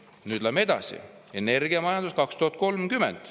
Nüüd läheme edasi: energiamajandus 2030.